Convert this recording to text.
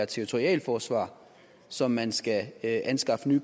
territorialt forsvar som man skal anskaffe